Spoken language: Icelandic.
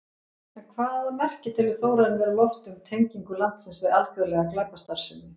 En hvaða merki telur Þórarinn vera á lofti um tengingu landsins við alþjóðlega glæpastarfsemi?